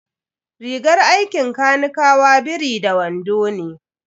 Rigar aikin kanikawa biri da wando ne.